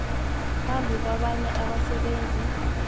phambi kwabanye abasebenzi